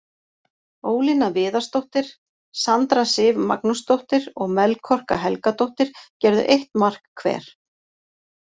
Ólína Viðarsdóttir, Sandra Sif Magnúsdóttir og Melkorka Helgadóttir gerðu eitt mark hver.